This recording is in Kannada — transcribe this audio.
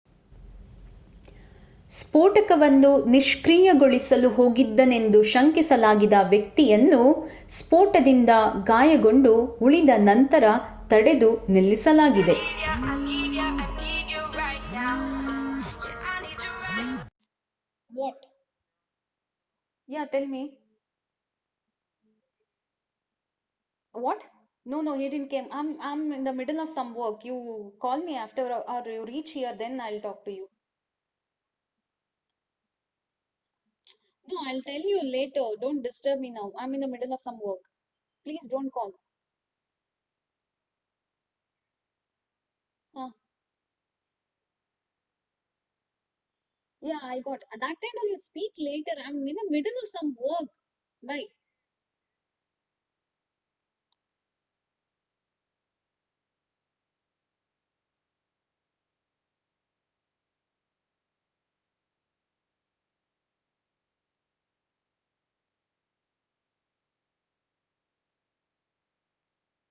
ಸ್ಫೋಟಕವನ್ನು ನಿಷ್ಕ್ರಿಯಗೊಳಿಸಲು ಹೋಗಿದ್ದನೆಂದು ಶಂಕಿಸಲಾಗಿದ್ದ ವ್ಯಕ್ತಿಯನ್ನು ಸ್ಫೋಟದಿಂದ ಗಾಯಗೊಂಡು ಉಳಿದನಂತರ ತಡೆದು ನಿಲ್ಲಿಸಲಾಗಿದೆ